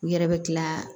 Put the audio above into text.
U yɛrɛ bɛ kila